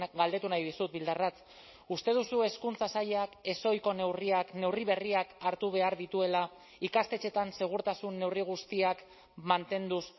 galdetu nahi dizut bildarratz uste duzu hezkuntza sailak ezohiko neurriak neurri berriak hartu behar dituela ikastetxeetan segurtasun neurri guztiak mantenduz